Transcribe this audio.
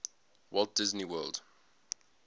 walt disney world